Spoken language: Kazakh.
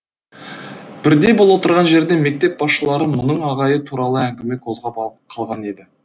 бірде бұл отырған жерде мектеп басшылары мұның ағайы туралы әңгіме қозғап қалған еді